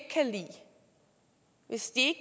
hvis ikke